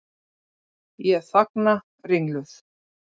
Ég þagna ringluð.